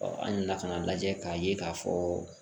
an nana ka na lajɛ k'a ye k'a fɔ